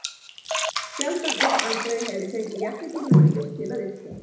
Sjaldan eða aldrei hef ég fengið jafn mikið næði til að yrkja.